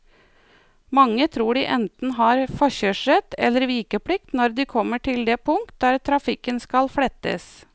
Mange tror de enten har forkjørsrett eller vikeplikt når de kommer til det punkt der trafikken skal flettes.